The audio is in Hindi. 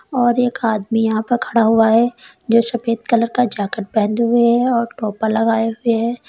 और एक आदमी यहां पर खड़ा हुआ है जो सफेद कलर का जैकेट पहने हुए हैं और टोपा लगाए हुए हैं।